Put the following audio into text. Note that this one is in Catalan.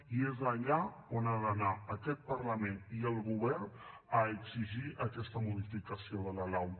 i és allà on han d’anar aquest parlament i el govern a exigir aquesta modificació de la lau